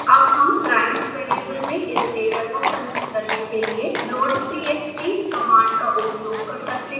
अब हम primes variable में इस डेटा को संचित करने के लिए loadtxt कमांड का उपयोग कर सकते हैं